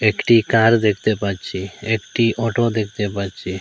একটি কার দেখতে পাচ্ছি একটি অটো দেখতে পাচ্ছি।